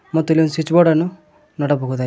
ಮತ್ತೆ ಇಲ್ಲೊಂದು ಸ್ವಿಚ್ ಬೋರ್ಡನ್ನು ನೋಡಬಹುದಾಗಿ --